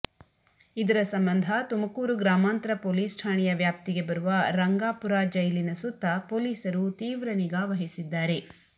ಇದರ ಸಂಬಂಧ ತುಮಕೂರು ಗ್ರಾಮಾಂತರ ಪೊಲಿಸ್ ಠಾಣೆಯ ವ್ಯಾಪ್ತಿಗೆ ಬರುವ ರಂಗಾಪುರ ಜೈಲಿನ ಸುತ್ತಾ ಪೊಲೀಸರು ತಿವ್ರ ನಿಗಾ ವಹಿಸಿದ್ದಾರೆ